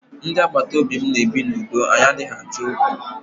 Ndị agbataobi mụ na ebi na udo anyị adịghị Achọ okwu.